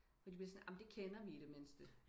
fordi de bliver sådan amen det kender vi i det mindste